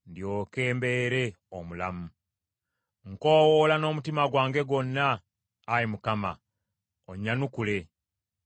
Nkoowoola n’omutima gwange gwonna, Ayi Mukama , onnyanukule! Nnaagonderanga amateeka go.